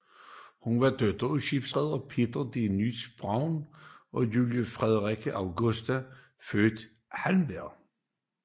Hun var datter af skibsreder Peter de Nully Brown og Julie Frederikke Augusta født Halberg